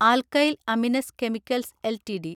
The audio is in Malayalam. alkyl amines chemicals LTD